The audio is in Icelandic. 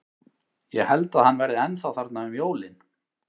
Ég held að hann verði ennþá þarna um jólin.